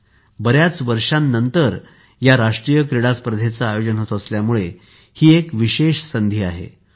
काही वर्षाच्या अंतराळानंतर राष्ट्रीय क्रीडा स्पर्धेचे आयोजन होत असल्यामुळे हि एक विशष संधी आहे